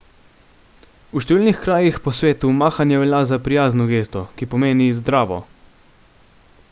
v številnih krajih po svetu mahanje velja za prijazno gesto ki pomeni zdravo